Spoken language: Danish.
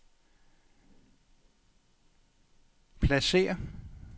pladsér